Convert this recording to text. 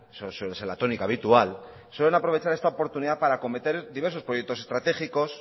suele ser la tónica habitual esta oportunidad para cometer diversos proyectos estratégicos